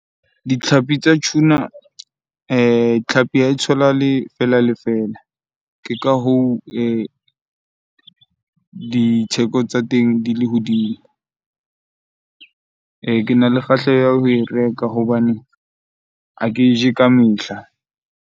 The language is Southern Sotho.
Ditlhapi tsa tuna tlhapi ha e tholahale fela le fela. Ke ka hoo ditheko tsa teng di le hodimo. Kena le kgahleho ya ho e reka hobane ha ke e je ka mehla.